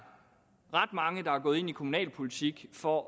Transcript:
gået ind i kommunalpolitik for